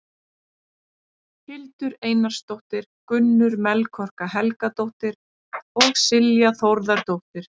Hildur Einarsdóttir, Gunnur Melkorka Helgadóttir og Silja Þórðardóttir.